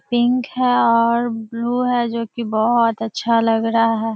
Pink है और blue है जो कि बहोत अच्छा लग रहा है।